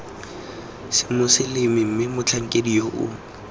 semoseleme mme motlhankedi yoo yo